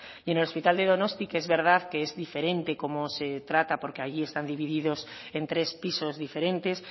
y en el hospital de donosti que es verdad que es diferente cómo se trata porque allí están divididos en tres pisos diferentes